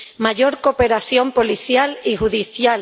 mayor cooperación policial y judicial